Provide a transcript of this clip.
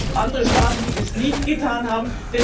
Es gibt andere Staaten, die dies nicht getan haben.